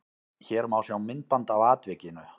Hér má sjá myndband af atvikinu